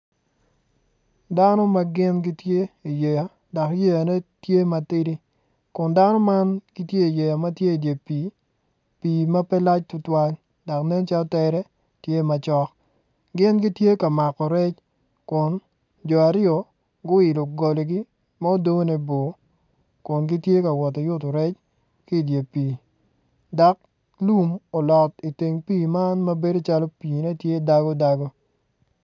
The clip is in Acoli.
Dano ma gin gitye i iyeya dok yeyane tye matidi kun dano mam gitye i yeya ma tye idye pii, pii ma pe lac tutwal dok nen calo tere tye macok gin gitye ka mako rec kun jo aryo guilo goligi mudone bor kungitye ka woto ki yuto rec ki dye pii dok lum olot iteng pii man mabedo calo piine tye dago dago